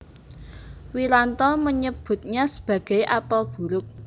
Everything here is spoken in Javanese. Wiranto menyebutnya sebagai apel buruk